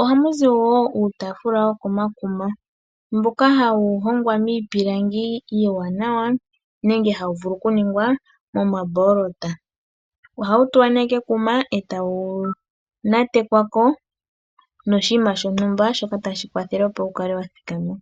Ohamu zi woo uutaafula wokomakuma mboka hawu hongwa miipilangi iiwanawa nenge hawu vulu oku ningwa momamboolota. Ohawu tulwa nee kekuma ee tawu nyatekwako noshinima shontumba shoka tashi kwathele opo wukale wa thikama.